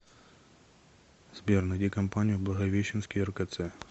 сбер найди компанию благовещенский ркц